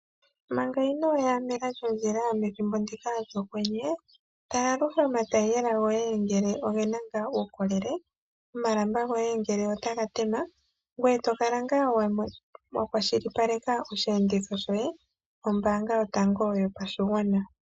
Manga inooya mela lyondjila methimbo ndika lyokwenye, tala aluhe omatayiyela goye ngele oge na ngaa uukolele, omalamba goye ngele otaga tema, ngoye to kala ngaa wa kwashilipaleka osheenditho shoye nombaanga yotango yopashigwana.